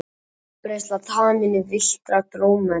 Útbreiðsla taminna og villtra drómedara.